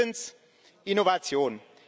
drittens Innovation.